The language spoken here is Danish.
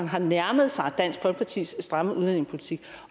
har nærmet sig dansk folkepartis stramme udlændingepolitik